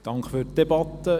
Danke für die Debatte.